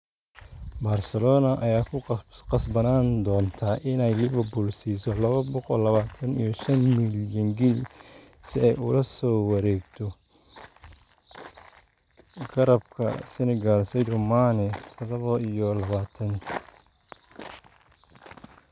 Barcelona ayaa ku qasbanaan doonta inay Liverpool siiso laba boqo labatan iyo shaan milyan ginni si ay ula soo wareegto garabka Senegal Sadio Mane, tadabo iyo labatan.